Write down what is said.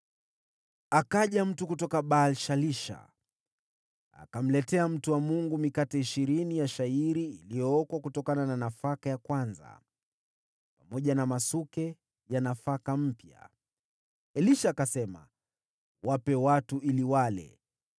Akaja mtu kutoka Baal-Shalisha, akimletea mtu wa Mungu mikate ishirini ya shayiri iliyookwa kutokana na nafaka ya kwanza, pamoja na masuke ya nafaka mpya. Elisha akasema, “Wape watu ili wale.”